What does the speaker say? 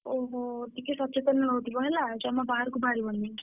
ଓହୋଃ ଟିକେ ସଚେତନ ରହୁଥିବ ହେଲା ଜମା ବାହାରକୁ ବାହାରିବନି।